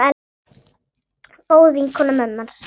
Góð vinkona mömmu hans.